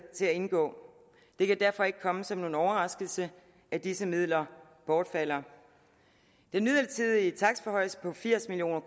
til at indgå det kan derfor ikke komme som nogen overraskelse at disse midler bortfalder den midlertidige takstforhøjelse på firs million